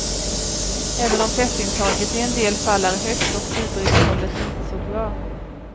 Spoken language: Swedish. Även om fettintaget i en del fall är högt och fiberinnehållet inte så bra.